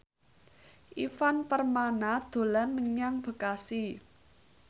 Ivan Permana dolan menyang Bekasi